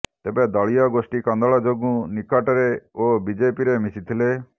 ତେବେ ଦଳୀୟ ଗୋଷ୍ଠୀ କନ୍ଦଳ ଯୋଗୁଁ ନିକଟରେ ଓ ବିଜେପିରେ ମିଶିଥିଲେ